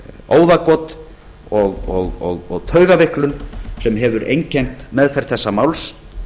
óðagot og taugaveiklun sem hefur einkennt meðferð þessa máls